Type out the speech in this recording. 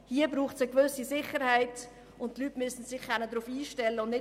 Hier braucht es eine gewisse Sicherheit, und die Leute müssen sich darauf einstellen können.